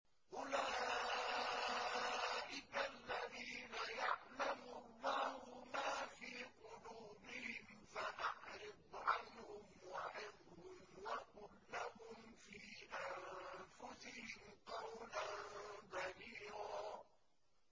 أُولَٰئِكَ الَّذِينَ يَعْلَمُ اللَّهُ مَا فِي قُلُوبِهِمْ فَأَعْرِضْ عَنْهُمْ وَعِظْهُمْ وَقُل لَّهُمْ فِي أَنفُسِهِمْ قَوْلًا بَلِيغًا